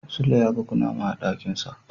Sule yaga kunama a dakinsa.